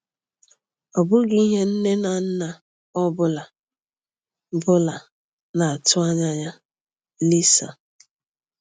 Ọ bụghị ihe nne na nna ọ bụla bụla na-atụ anya ya?” – Lisa.